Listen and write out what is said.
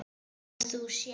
En þú sjálf?